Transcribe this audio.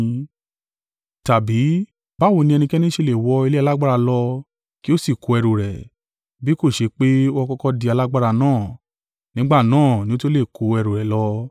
“Tàbí, báwo ni ẹnikẹ́ni ṣe lè wọ ilé alágbára lọ kí ó sì kó ẹrù rẹ̀, bí kò ṣe pé ó kọ́kọ́ di alágbára náà? Nígbà náà ni ó tó lè kó ẹrù rẹ̀ lọ.